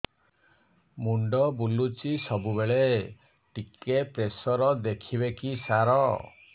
ମୁଣ୍ଡ ବୁଲୁଚି ସବୁବେଳେ ଟିକେ ପ୍ରେସର ଦେଖିବେ କି ସାର